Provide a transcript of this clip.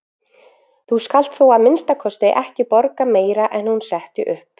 Þú skalt þó að minnsta kosti ekki borga meira en hún setti upp.